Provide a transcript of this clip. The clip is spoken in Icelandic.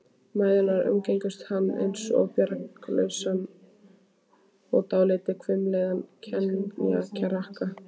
Mæðgurnar umgengust hann einsog bjargarlausan og dálítið hvimleiðan kenjakrakka.